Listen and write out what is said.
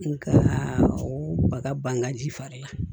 Nka o baga bangaji fari la